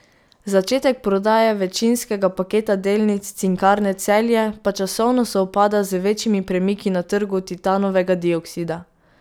Začetek prodaje večinskega paketa delnic Cinkarne Celje pa časovno sovpada z večjimi premiki na trgu titanovega dioksida.